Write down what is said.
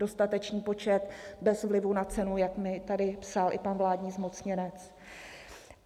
Dostatečný počet bez vlivu na cenu, jak mi tady psal i pan vládní zmocněnec.